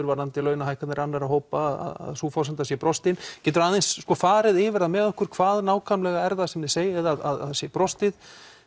varðandi launahækkanir annara hópa sú forsenda sé brostin geturu aðeins farið yfir það með okkur hvað nákvæmlega er það sem segir að það sé brostið